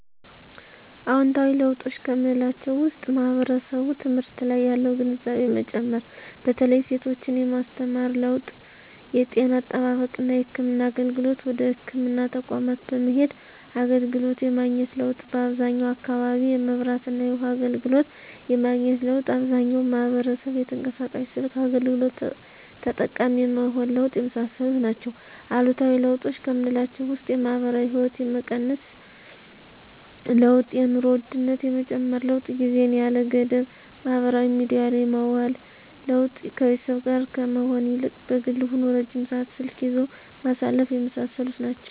አዎንታዊ ለውጦች ከምላቸው ውስጥ ማህበረሰቡ ትምህርት ላይ ያለው ግንዛቤ መጨመር በተለይ ሴቶችን የማስተማር ለውጥ የጤና አጠባበቅና የህክምና አገልግሎትን ወደ ህክምና ተቋማት በመሄድ አገልግሎት የማግኘት ለውጥ በአብዛኛው አካባቢ የመብራትና የውሀ አገልግሎት የማግኘት ለውጥ አብዛኛው ማህበረሰብ የተንቀሳቃሽ ስልክ አገልግሎት ተጠቃሚ የመሆን ለውጥ የመሳሰሉት ናቸው። አሉታዊ ለውጦች ከምላቸው ውስጥ የማህበራዊ ህይወት የመቀነስ ለውጥ የኑሮ ውድነት የመጨመር ለውጥ ጊዜን ያለ ገደብ ማህበራዊ ሚዲያ ላይ የማዋል ለውጥ ከቤተሰብ ጋር ከመሆን ይልቅ በግል ሆኖ ረጅም ሰዓት ስልክ ይዞ ማሳለፍ የመሳሰሉት ናቸው።